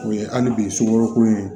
O ye hali bi sugoro ko in